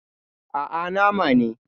Aa, Nama ne